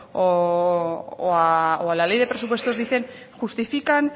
o a la ley de presupuestos dicen justifican